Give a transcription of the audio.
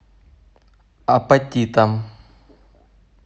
апатитам